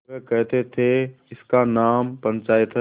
वे कहते थेइसका नाम पंचायत है